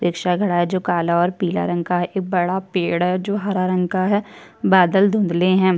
Rickshaw खड़ा है जो काला और पीला रंग का है एक बड़ा पेड़ है जो हरा रंग का है बादल धुंधले हैं।